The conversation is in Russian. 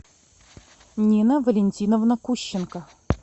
нина валентиновна кущенко